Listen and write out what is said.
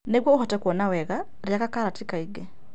Nĩguo ũhote kuona wega, rĩaga karoti kaingĩ.